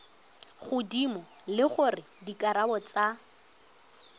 godimo le gore dikarabo tsa